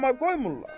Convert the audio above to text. Amma qoymurlar.